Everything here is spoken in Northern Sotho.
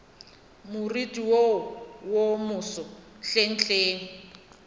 moriting wo wo moso hlenghleng